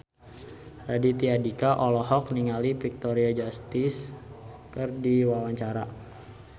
Raditya Dika olohok ningali Victoria Justice keur diwawancara